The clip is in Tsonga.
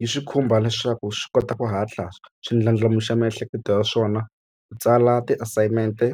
Yi swi khumba leswaku swi kota ku hatla swi ndlandlamuxa miehleketo ya swona ku tsala ti-assignment-e